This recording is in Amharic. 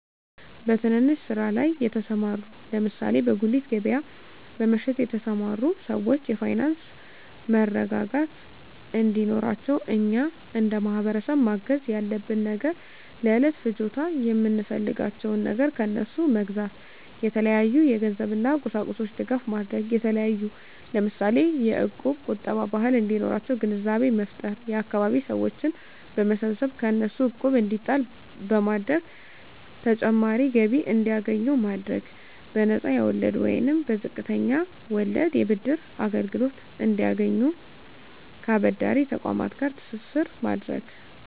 በትንንሽ ስራ ላይ የተሰማሩ ለምሳሌ በጉሊት ገበያ በመሸጥ የተሰማሩ ሰወች የፋይናንስ መረጋጋት እንዴኖራቸው እኛ እንደማህበረሰብ ማገዝ ያለብን ነገር ለእለት ፍጆታ የምንፈልጋቸውን ነገር ከነሡ መግዛታ የተለያዩ የገንዘብ እና ቁሳቁሶች ድጋፍ ማድረግ የተለያዩ ለምሳሌ የእቁብ ቁጠባ ባህል እንዲኖራቸው ግንዛቤ መፍጠር የአካባቢ ሰወችን በመሰብሰብ ከእነሱ እቁብ እንዲጣል በማድረግ ተጨማሪ ገቢ እንዲያገኙ ማድረግ በነፃ የወለድ ወይንም በዝቅተኛ ወለድ የብድር አገልግሎት እንዲያገኙ ከአበዳሪ ተቆማት ጋር ትስስር ማድረግ